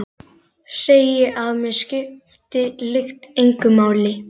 Segi að mig skipti lykt engu máli.